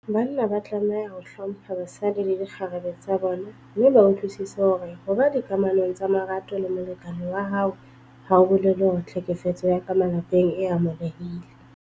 Banna ba tlameha ho hlompha basadi le dikgarebe tsa bona mme ba utlwisise hore ho ba dikamanong tsa marato le molekane wa hao ha ho bolele hore tlhekefetso ya ka malapeng e amohelehile.